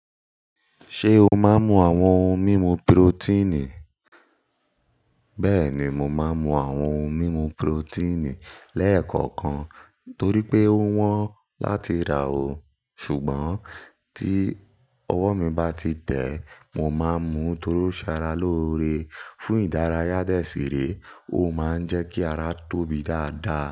Ṣé o máa ń mu àwọn ohun mímu pirotíìnì? Bẹ́ẹ̀ni, mo máa ń mu àwọn ohun mímu pirotíìnì lẹ́ẹ̀kọ̀kan torí pé ó wọ́n láti rà ò. Ṣùgbọ́n, tí ọwọ́ mi bá ti tẹ́, mo máa ń mu torosaralore fún ìdárayá dẹ́sìrè, ó máa ń jẹ́ kí ara tóbi dáadáa.